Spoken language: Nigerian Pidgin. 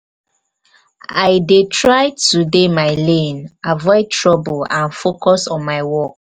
i dey try to dey my lane avoid trouble and focus on my work.